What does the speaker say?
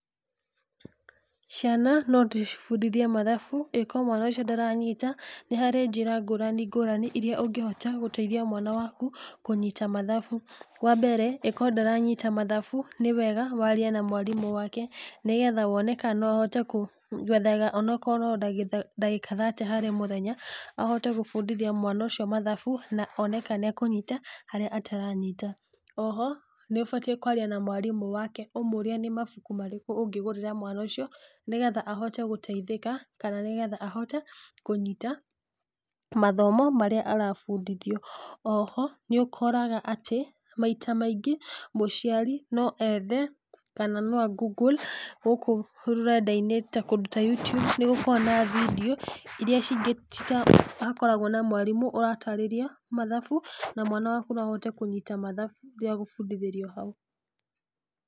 Ciana no ndĩcibundithi mathabu, angĩkorwo mwana ũcio ndaranyita, nĩharĩ njĩra ngũrani ngũrani iria ũngĩhota gũteithia mwana waku, kũnyita mathabu. Wambere angĩkorwo ndaranyita mathabu, nĩwega warie na mwarimũ wake, nĩgetha wone kana no ahote kũ gwethaga onokorwo no ndagĩka thate harĩ mũthenya, ahote gũbundithia mwana ũcio mathabu one kana nĩakũnyita harĩa ataranyita. Oho, nĩũbatiĩ kwaria na mwarimũ wake ũmũrie nĩ mabuku marĩkũ ũngĩgũrĩra mwana ũcio, nĩgetha ahote gũteithĩka, kana nĩgetha ahote kũnyita, mathamo marĩa arabundithio. Oho, nĩũkoraga atĩ. maita maingĩ, mũciari no ethe kana no a Google gũkũ rũrendainĩ ta kũndũ ta YouTube nĩgũkoragwo na vindeo iria hakoragwo na mwarimũ ũratarĩria mathabu, na mwana waku no ahote kũnyita mathabu rĩrĩa agũbundithĩrio hau.